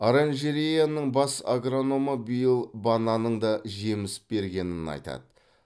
оранжереяның бас агрономы биыл бананның да жеміс бергенін айтады